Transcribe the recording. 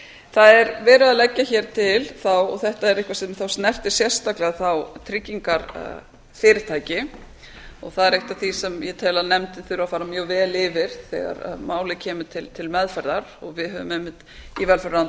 það er verið að leggja hér til þá og þetta er eitthvað sem þá snertir sérstaklega þá tryggingarfyrirtæki og það er eitt af því sem ég tel að nefndin þurfi að fara mjög vel yfir þegar málið kemur til meðferðar og við höfum einmitt í velferðarráðuneytinu